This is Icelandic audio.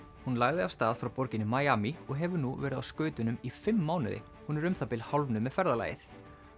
hún lagði af stað frá borginni og hefur nú verið á skautunum í fimm mánuði hún er um það bil hálfnuð með ferðalagið